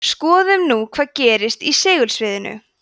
skoðum nú hvað gerist í segulsviðinu